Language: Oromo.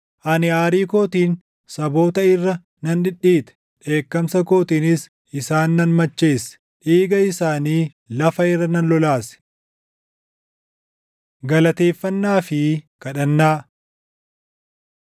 Ani aarii kootiin saboota irra nan dhidhiite; dheekkamsa kootiinis isaan nan macheesse; dhiiga isaanii lafa irra nan lolaase.” Galateeffannaa fi Kadhannaa